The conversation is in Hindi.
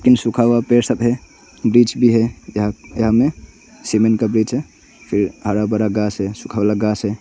इन सूखा हुआ पेड़ सब है ब्रिज भी है यहा यहां में सीमेंट का ब्रिज है फिर हरा भरा घास है सुखा वाला घास है।